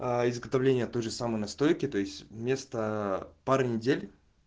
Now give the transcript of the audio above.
аа изготовление той же самой настройки то есть вместо пары недель